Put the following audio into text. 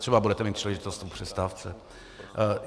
Třeba budete mít příležitost o přestávce.